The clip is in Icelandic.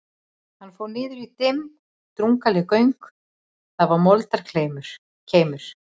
Hann fór niður í dimm og drungaleg göng, þar var moldarkeimur.